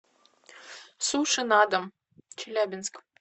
суши на дом челябинск